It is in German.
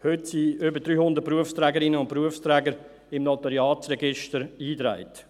Heute sind über 300 Berufsträgerinnen und Berufsträger im Notariatsregister eingetragen.